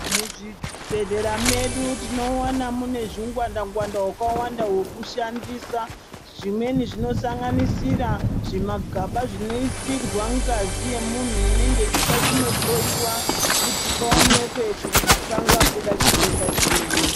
Mu zvibhehlera medu tinowana mune zvi ngwanda ngwanda wakawanda weku shandisa zvimweni zvino sanganisira zvi magaba zvino isirwa ngazi ye munhu inenge ichida kuno hloyiwa kuti paonekwe kuti panga buda chitenda chiri.